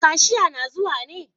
Kashia na zuwa ne?